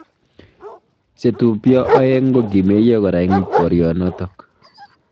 Chetubjo aeng kokimeiyo kora eng boryonotok.